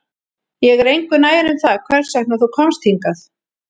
Ég er engu nær um það hvers vegna þú komst hingað